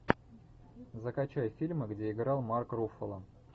закачай фильмы где играл марк руффало